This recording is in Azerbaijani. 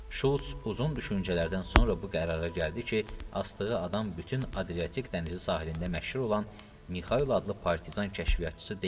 Şulç uzun düşüncələrdən sonra bu qərara gəldi ki, asdığı adam bütün Adriatik dənizi sahilində məşhur olan Mikayl adlı partizan kəşfiyyatçısı deyil.